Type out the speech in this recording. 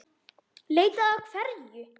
Leita að hverju?